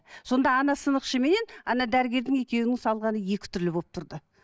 сонда ана сынықшы менен ана дәрігердің екеуінің салғаны екі түрлі болып тұрды